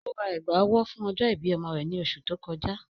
Ó rá ègbá-ọ̀wọ̀ fún ọ̀jọ́-ìbí ọ̀mọ rẹ̀ ní òṣù tó kọjà